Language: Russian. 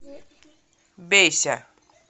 бейся